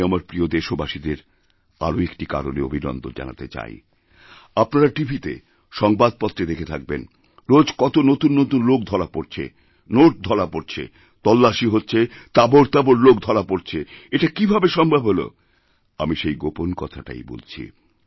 আমি আমার প্রিয় দেশবাসীদের আরও একটি কারণে অভিনন্দন জানাতে চাই আপনারা টিভিতেসংবাদপত্রে দেখে থাকবেন রোজ কত নতুন নতুন লোক ধরা পড়ছে নোট ধরা পড়ছে তল্লাসীহচ্ছে তাবড় তাবড় লোক ধরা পড়ছে এটা কীভাবে সম্ভব হল আমি সেই গোপন কথাটাই বলছি